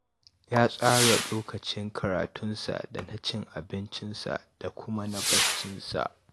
Ya tsara lokacin karatunsa da na cin abincinsa da kuma na baccinsa